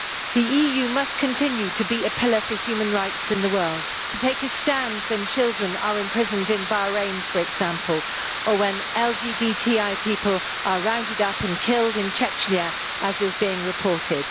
The EU must continue to be a pillar for human rights in the world, to take a stand when children are imprisoned in Bahrain, for example, or when LGBTI people are rounded up and killed in Chechnya, as is being reported.